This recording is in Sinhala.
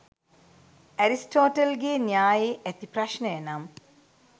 ඇරිස්ටෝටල් ගේ න්‍යායේ ඇති ප්‍රශ්නය නම්